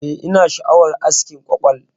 Eh, ina sha'awar askin kwakwal.